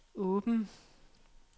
åben